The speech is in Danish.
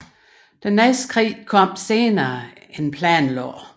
Næste krig kom senere end planlagt